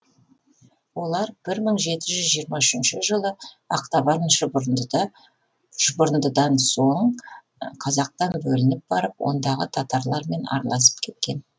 олар бір мың жеті жүз жиырма үшінші жылы ақтабан шұбырындыдан соң қазақтан бөлініп барып ондағы татарлармен араласып кеткен